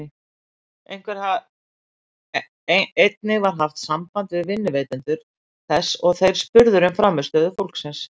Einnig var haft samband við vinnuveitendur þess og þeir spurðir um frammistöðu fólksins.